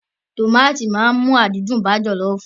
Awọn tomati ṣe iresi jollof ti nhu